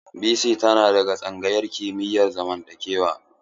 Bisi tana daga tsangayar kimiyar zamantakewa.